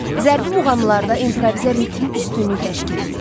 Zərbi muğamlarda improviza ritm üstünlük təşkil eləyir.